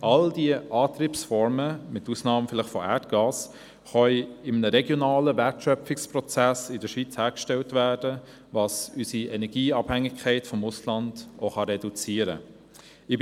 All diese Antriebsformen, mit Ausnahme von Erdgas, können in einem regionalen Wertschöpfungsprozess in der Schweiz hergestellt werden, was unsere Energieabhängigkeit vom Ausland reduzieren kann.